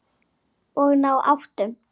Og ná áttum.